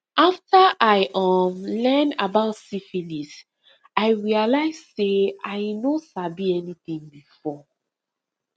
after i um learn about syphilis i realize say i no sabi anything before